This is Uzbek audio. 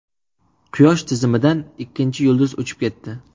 Quyosh tizimidan ikkinchi yulduz uchib ketdi.